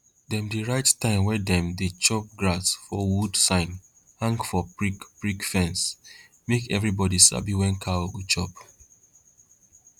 dem dey write time wey dem dey chop grass for wood sign hang for prickprick fence make everybody sabi when cow go chop